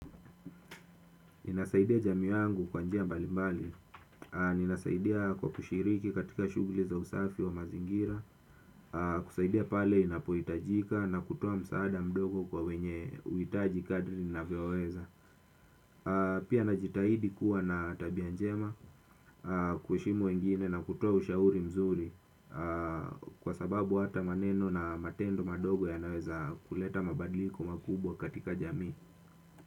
Ninasaidia jamii wangu kwa njia mbali mbali, ninasaidia kwa kushiriki katika shuguli za usafi wa mazingira, kusaidia pale inapohitajika na kutoa msaada mdogo kwa wenye uitaji kadri ninavyoweza. Pia najitahidi kuwa na tabia njema, kuheshimu wengine na kutoa ushauri mzuri kwa sababu hata maneno na matendo madogo yanaweza kuleta mabadliko makubwa katika jamii.